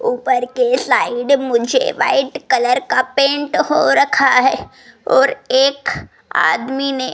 ऊपर के स्लाइड मुझे व्हाइट कलर का पेंट हो रखा है और एक आदमी ने --